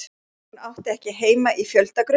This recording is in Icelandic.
Hún átti ekki heima í fjöldagröf.